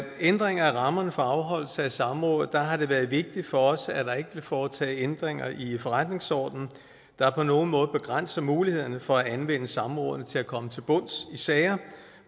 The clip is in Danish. ændringer af rammerne for afholdelse af samråd har det været vigtigt for os at der ikke blev foretaget ændringer i forretningsordenen der på nogen måde begrænser mulighederne for at anvende samrådene til at komme til bunds i sager